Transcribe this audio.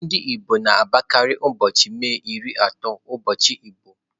Ndị igbo na-agbakarị ụbọchị May ịrị atọ ụbọchị igbo.